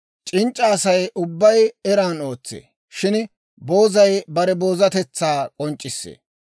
C'inc'c'a Asay ubbay eran ootsee; shin boozay bare boozatetsaa k'onc'c'issee.